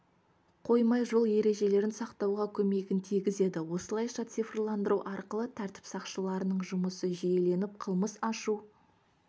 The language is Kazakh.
қоймай жол ережелерін сақтауға көмегін тигізеді осылайша цифрландыру арқылы тәртіп сақшыларының жұмысы жүйеленіп қылмыс ашу